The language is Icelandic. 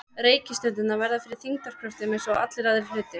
Reikistjörnurnar verða fyrir þyngdarkröftum eins og allir aðrir hlutir.